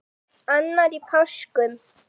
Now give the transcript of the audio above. Annar í páskum.